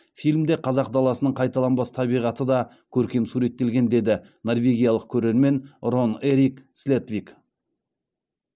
фильмде қазақ даласының қайталанбас табиғаты да көркем суреттелген деді норвегиялық көрермен рон эрик слетвик